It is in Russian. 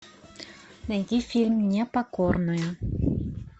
найди фильм непокорная